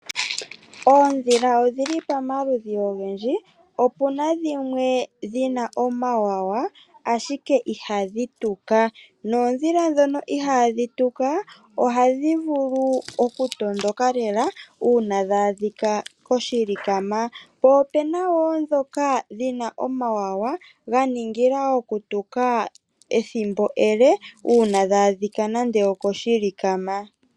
Oodhila odhili pamaludhi ogendji. Opuna dhimwe dhina omawawa ashike ihadhi tuka. Noodhila dhoka ihaadhi tuka ohadhi vulu oku tondoka lela una dha adhika koshilikama. Po opena wo dhoka dhina omawawa dha ningila oku tuka ethimbo elele una dha adhika nande okoshilikama.